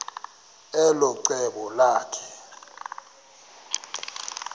elo cebo lakhe